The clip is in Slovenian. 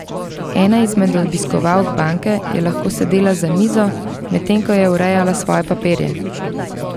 Ena izmed obiskovalk banke je lahko sedela za mizo, medtem ko je urejala svoje papirje.